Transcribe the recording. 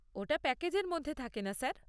ওটা প্যাকেজের মধ্যে থাকেনা স্যার।